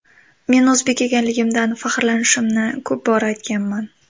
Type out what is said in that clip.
Men o‘zbek ekanligimdan faxrlanishimni ko‘p bora aytganman.